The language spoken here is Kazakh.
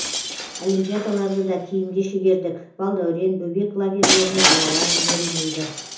олимпиадаларды да кейінге шегердік балдәурен бөбек лагерьлеріне балалар жіберілмейді